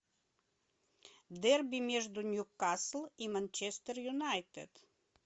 дерби между ньюкасл и манчестер юнайтед